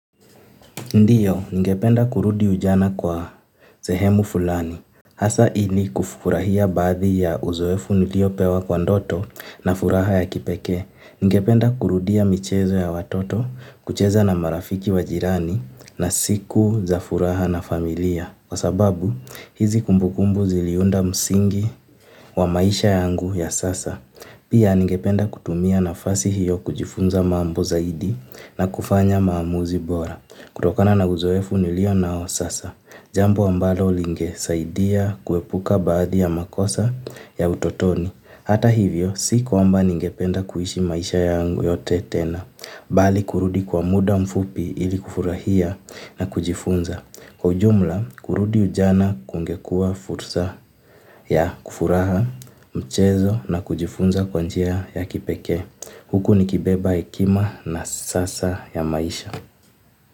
Ndiyo, ningependa kurudi ujana kwa sehemu fulani. Hasa ili kufurahia baadhi ya uzoefu niliopewa kwa ndoto na furaha ya kipekee. Ningependa kurudia michezo ya watoto, kucheza na marafiki wa jirani na siku za furaha na familia. Kwa sababu, hizi kumbukumbu ziliunda msingi wa maisha yangu ya sasa. Pia ningependa kutumia nafasi hiyo kujifunza mambo zaidi na kufanya maamuzi bora. Kutokana na uzoefu nilio nao sasa, jambo ambalo linge saidia kuepuka baadhi ya makosa ya utotoni. Hata hivyo, siku ambayo ningependa kuishi maisha yangu yote tena, bali kurudi kwa muda mfupi ili kufurahia na kujifunza. Kwa ujumla, kurudi ujana kungekuwa fursa ya kufuraha, mchezo na kujifunza kwa njia ya kipekee. Huku nikibeba hekima na sasa ya maisha.